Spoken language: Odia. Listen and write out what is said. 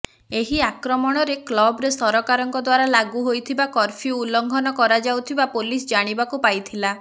ଏହି ଆକ୍ରମଣରେ କ୍ଲବରେ ସରକାରଙ୍କ ଦ୍ବାରା ଲାଗୁ ହୋଇଥିବା କର୍ଫ୍ୟୁ ଉଲ୍ଲଂଘନ କରାଯାଉଥିବା ପୋଲିସ ଜାଣିବାକୁ ପାଇଥିଲା